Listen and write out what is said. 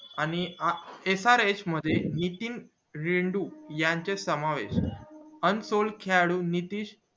आणि srh मध्ये नितीन रेडु यांचा समावेश unsol खेळाडू हितेश